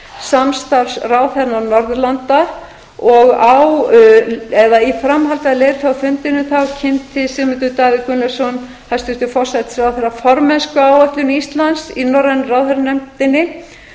samstarfsráðherra norðurlanda og í framhaldi af leiðtogafundinum kynnti sigmundur davíð gunnlaugsson hæstvirtur forsætisráðherra formennskuáætlun íslands í norrænu ráðherranefndinni